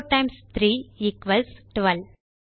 4 times 3 equals 12